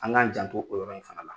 An k'an jan to o yɔrɔ in fana la.